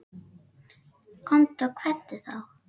Komdu og kveddu þá.